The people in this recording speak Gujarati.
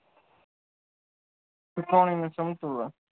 સંતુલન